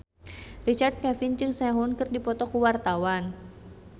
Richard Kevin jeung Sehun keur dipoto ku wartawan